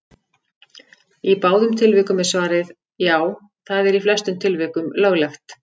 Í báðum tilvikum er svarið: Já, það er í flestum tilvikum löglegt.